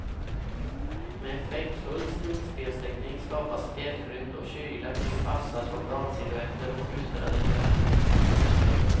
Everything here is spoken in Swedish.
Med effektfull skuggspelsteknik skapas fjällrymd och kyla kring vassa soldatsilhuetter och skyldrade gevär.